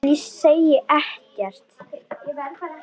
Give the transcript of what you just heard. En ég segi ekkert.